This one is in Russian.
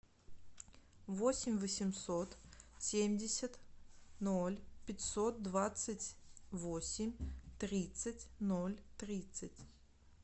восемь восемьсот семьдесят ноль пятьсот двадцать восемь тридцать ноль тридцать